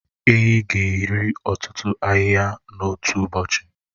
Ehi ga-eri ọtụtụ ahịhịa n'otu ụbọchị.